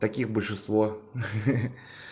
таких большинство хи-хи